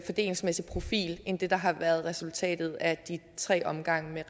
fordelingsmæssig profil end det der har været resultatet af de tre omgange